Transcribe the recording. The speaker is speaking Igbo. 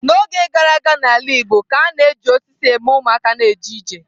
N'oge gara aga n'ala igbo ka a na-eji osisi eme ụmụaka na-eje ije.